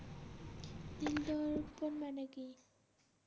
মানে কি